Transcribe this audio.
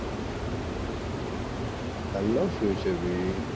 hello future b